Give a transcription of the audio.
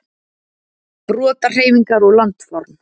Brotahreyfingar og landform.